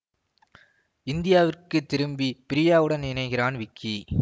இந்தியாவிற்கு திரும்பி பிரியாவுடன் இணைகிறான் விக்கி